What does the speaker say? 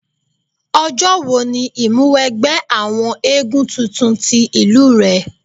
Ọjọ́ wo ni ìmúwẹgbẹ́ àwọn éégún tuntun ti ìlú rẹ?